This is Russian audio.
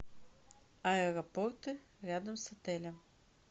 аэропорты рядом с отелем